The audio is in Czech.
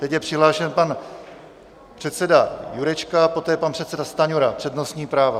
Teď je přihlášen pan předseda Jurečka, poté pan předseda Stanjura, přednostní práva.